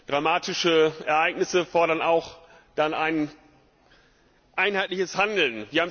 Dramatische Ereignisse erfordern dann auch ein einheitliches Handeln.